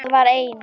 Það var eina.